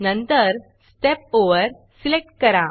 नंतर step overstep over select करा